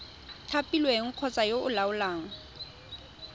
thapilweng kgotsa yo o laolang